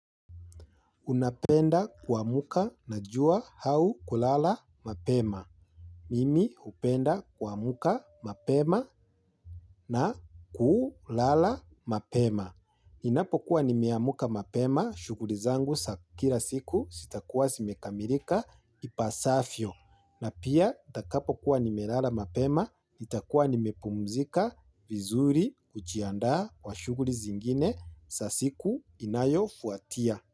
Unapenda kuamka na jua au kulala mapema? Mimi upenda kwa muka mapema na kulala mapema. Inapokuwa nimeamka mapema shughuli zangu za kila siku zitakua zimekamilika ipasavyo. Na pia itakapokuwa nimelala mapema itakuwa nimepumzika vizuri kujiandaa kwa shughuli zingine za siku inayofuatia.